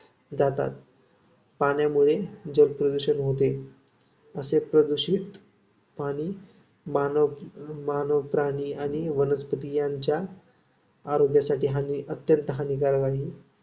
जातात. पाण्यामुळे जलप्रदूषण होते. असे प्रदूषित पाणी मानव, मानव, प्राणी आणि वनस्पती यांच्या आरोग्यासाठी हानिअत्यंत हानिकारक आहे.